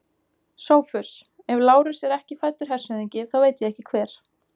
SOPHUS: Ef Lárus er ekki fæddur hershöfðingi, þá veit ég ekki hver.